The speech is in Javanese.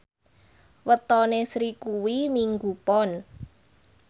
wetone Sri kuwi Minggu Pon